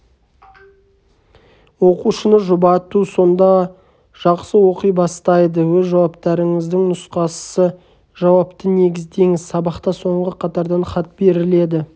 оқушыны жұбату сонда жақсы оқи бастайды өз жауаптарыңыздың нұсқасы жауапты негіздеңіз сабақта соңғы қатардан хат беріледі